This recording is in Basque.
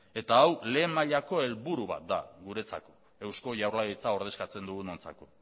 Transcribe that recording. eta hau lehen mailako helburu bat da guretzako eusko jaurlaritza ordezkatzen dugunontzako